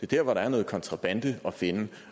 der hvor der er noget kontrabande at finde